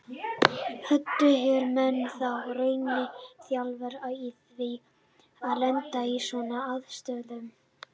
Hödd: Eru menn þá í rauninni þjálfaðir í því að lenda í svona aðstæðum?